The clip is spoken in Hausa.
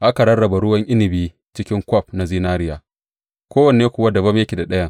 Aka rarraba ruwan inabi cikin kwaf na zinariya, kowanne kuwa dabam yake da ɗayan.